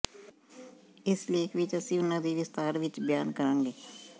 ਇਸ ਲੇਖ ਵਿਚ ਅਸੀਂ ਉਨ੍ਹਾਂ ਦੀ ਵਿਸਤਾਰ ਵਿਚ ਬਿਆਨ ਕਰਾਂਗੇ